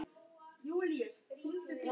Hertu þig upp, mamma.